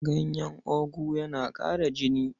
Ganyen ogu yana ƙara jini.